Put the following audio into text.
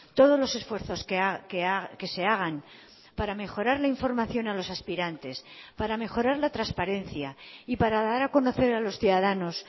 todos los esfuerzos que se hagan para mejorar la información a los aspirantes para mejorar la transparencia y para dar a conocer a los ciudadanos